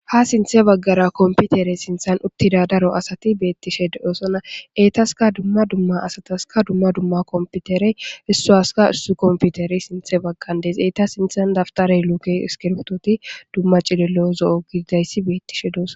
Ha sinthe baggara komputere sinthan uttida daro asati beettishe de'osona. Etasika dumma dumma asataska dumma dumma komputerey issuwaska issuwa komputerey sintha baggan eeta sinthan dabitarey,luuke ,iskirbitoyi,dumma cililo zo'o gidida issi beettishe doos.